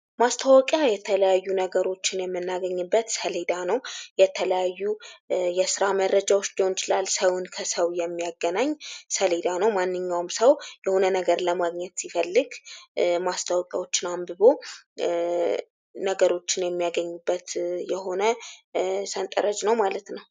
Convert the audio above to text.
ማስታወቂያ የተለያዩ ነገሮችን የምናገኝበት ሰሌዳ ነው የተለያዩ የስራ መረጃዎች ሊሆን ይችላል ሰውን ከሰው የሚያገናኝ ሌላዳ ነው ።ማንኛውም ሰው የሆነ ነገር ለማግኘት ሲፈልግ ማስታወቂያዎች አንብቦ ነገሮችን የሚያገኝበት የሆነ ነው ሰንጠረዥ ነው ማለት ነው።